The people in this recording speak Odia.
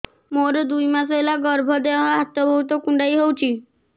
ମୋର ଦୁଇ ମାସ ହେଲା ଗର୍ଭ ଦେହ ହାତ ବହୁତ କୁଣ୍ଡାଇ ହଉଚି